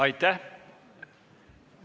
Aitäh!